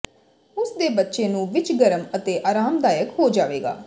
ਉਸ ਦੇ ਬੱਚੇ ਨੂੰ ਵਿੱਚ ਗਰਮ ਅਤੇ ਆਰਾਮਦਾਇਕ ਹੋ ਜਾਵੇਗਾ